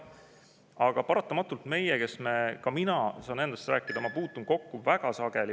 Aga paratamatult meie, kes me – ka mina saan endast rääkida, ma puutun kokku väga sageli …